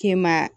Kɛ maa